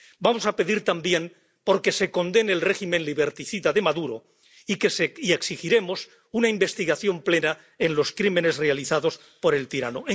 Vamos a pedir también que se condene el régimen liberticida de Maduro y exigiremos una investigación plena de los crímenes realizados por el tirano.